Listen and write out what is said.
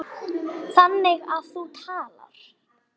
Þannig að þú talar.